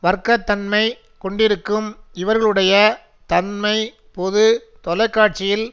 வர்க்கத்தன்மை கொண்டிருக்கும் இவர்களுடைய தன்மை பொது தொலைக்காட்சியில்